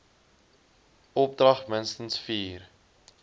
opdrag minstens vier